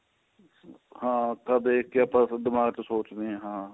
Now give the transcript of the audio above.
ਹਾਂ ਅੱਖਾਂ ਦੇਖਕੇ ਆਪਾਂ ਦਿਮਾਗ਼ ਤੋ ਸੋਚ ਦੇ ਹਾਂ